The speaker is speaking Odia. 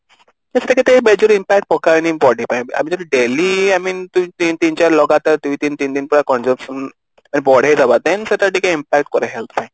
ତ ସେଇଟା ଏତେ major impact ପକାଏନି body ପାଇଁ ଆମେ ଯଦି daily ତିନ ଚାର ଲଗାତର ଦୁଇ ଦିନ ତିନି ଦିନ consumption ବଢେଇଦବା then ସେଇଟା ଟିକେ impact କରେ health ପାଇଁ